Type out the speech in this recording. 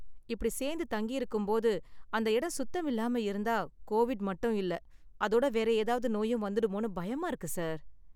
இப்படி சேந்து தங்கியிருக்கும் போது, அந்த இடம் சுத்தம் இல்லாம இருந்தா கோவிட் மட்டும் இல்ல, அதோட வேற ஏதாவது நோயும் வந்துடுமோன்னு பயமா இருக்கு சார்.